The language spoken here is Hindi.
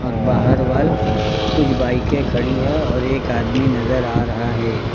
और बाहरवाल कुछ बाइके खड़ी हैं और एक आदमी नजर आ रहा है।